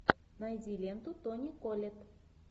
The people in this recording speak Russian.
найди ленту тони коллетт